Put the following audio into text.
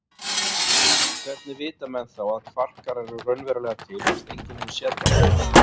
En hvernig vita menn þá að kvarkar eru raunverulega til fyrst enginn hefur séð þá?